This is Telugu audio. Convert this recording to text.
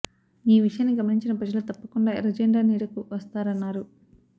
ఈ విషయాన్ని గమనించిన ప్రజలు తప్పకుండా ఎర్ర జెండా నీడకు వస్తారన్నారు